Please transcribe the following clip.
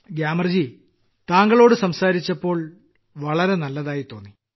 ഗ്യാമർജീ താങ്കളോട് സംസാരിച്ചപ്പോൾ വളരെ നന്നായി തോന്നി